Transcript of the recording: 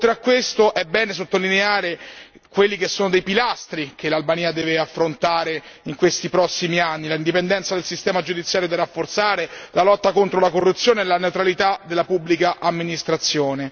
Oltre a questo è bene sottolineare quelli che sono i pilastri che l'Albania deve affrontare in questi prossimi anni l'indipendenza del sistema giudiziario da rafforzare, la lotta contro la corruzione e la neutralità della pubblica amministrazione.